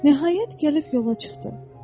Nəhayət, gəlib yola çıxdı.